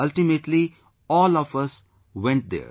Ultimately all of us went there